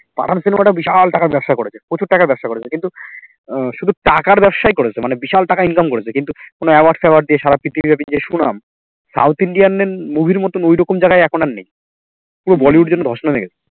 পাঠান cinema একটা বিশাল টাকার ব্যবসা করেছে প্রচুর টাকার ব্যবসা করেছে কিন্তু আহ শুধু টাকার ব্যবস্যা এ করেছে মানে বিশাল টাকা income করেছে কিন্তু কোনো award ফেওয়ার্ড দিয়া সারা পৃথিবী ব্যাপী যে সুনাম south Indian movie র মতো ঐরকম জায়গায় এখন আর নেই পুরো bollywood যেন ধস নেমে গেছে